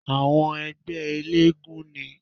Àwọn ẹgbẹ́ eléégún ni